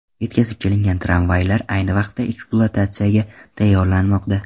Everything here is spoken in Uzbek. Yetkazib kelingan travmaylar ayni vaqtda ekspluatatsiyaga tayyorlanmoqda.